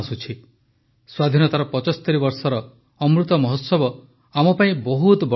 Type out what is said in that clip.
ସ୍ୱାଧୀନତାର ୭୫ ବର୍ଷର ଅମୃତମହୋତ୍ସବ ଆମ ପାଇଁ ବହୁତ ବଡ଼ ପ୍ରେରଣା